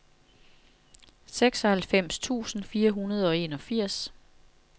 seksoghalvfems tusind fire hundrede og enogfirs